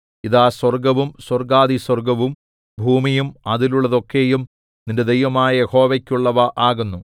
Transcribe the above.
ഇതാ സ്വർഗ്ഗവും സ്വർഗ്ഗാധിസ്വർഗ്ഗവും ഭൂമിയും അതിലുള്ളതൊക്കെയും നിന്റെ ദൈവമായ യഹോവയ്ക്കുള്ളവ ആകുന്നു